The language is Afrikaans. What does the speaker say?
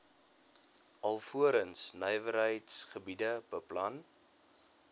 alvorens nywerheidsgebiede beplan